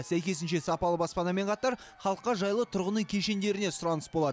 сәйкесінше сапалы баспанамен қатар халыққа жайлы тұрғын үй кешендеріне сұраныс болады